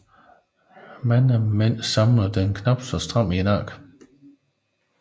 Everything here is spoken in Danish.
Mange mænd samler den knapt så stramt i nakken